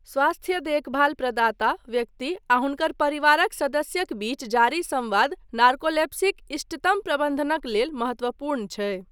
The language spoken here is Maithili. स्वास्थ्य देखभाल प्रदाता, व्यक्ति, आ हुनकर परिवारक सदस्यक बीच जारी संवाद नार्कोलेप्सीक इष्टतम प्रबन्धनक लेल महत्वपूर्ण छै।